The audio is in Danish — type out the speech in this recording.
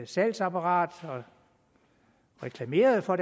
salgsapparatet og reklameret for